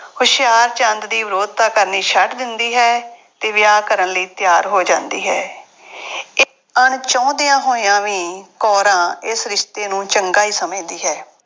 ਹੁਸ਼ਿਆਰਚੰਦ ਦੀ ਵਿਰੋਧਤਾ ਕਰਨੀ ਛੱਡ ਦਿੰਦੀ ਹੈ ਅਤੇ ਵਿਆਹ ਕਰਨ ਲਈ ਤਿਆਰ ਹੋ ਜਾਂਦੀ ਹੈ। ਅਣਚਾਹੁੰਦਿਆਂ ਹੋਇਆਂ ਵੀ ਕੌਰਾਂ ਇਸ ਰਿਸ਼ਤੇ ਨੂੰ ਚੰਗਾ ਹੀ ਸਮਝਦੀ ਹੈ।